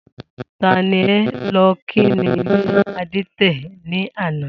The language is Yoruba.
Ta ni e̩ lo̩ kí ní ilé adé̩tè̩ ní àná?